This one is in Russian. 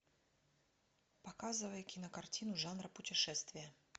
показывай кинокартину жанра путешествия